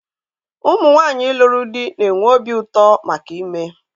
Ụmụ nwanyị lụrụ di na-enwe obi ụtọ maka ime ime